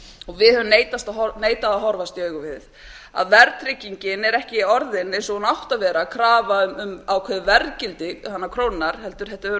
og við höfum neitað að horfast í augu við er að verðtryggingin er ekki orðin eins og hún átti að vera krafa um ákveðið verðgildi krónunnar heldur hefur þetta